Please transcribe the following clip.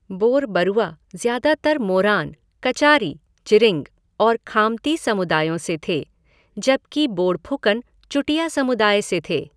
बोरबरुआ ज्यादातर मोरान, कचारी, चिरिंग और खामती समुदायों से थे, जबकि बोड़फुकन चुटिया समुदाय से थे।